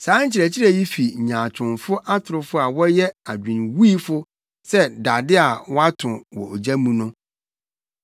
Saa nkyerɛkyerɛ yi fi nyaatwomfo atorofo a wɔyɛ adwenwuifo sɛ dade a wɔato wɔ ogya mu no.